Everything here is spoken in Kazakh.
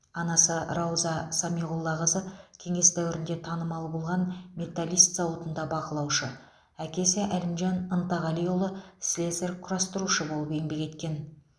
анасы рауза самиғоллақызы кеңес дәуірінде танымал болған металлист зауытында бақылаушы әкесі әлімжан ынтағалиұлы слесарь құрастырушы болып еңбек еткен